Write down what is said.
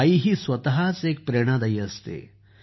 आई ही स्वतःच एक प्रेरणादायक असते